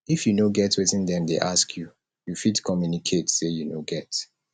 if you no get wetin dem dey ask you fit communicate sey you no get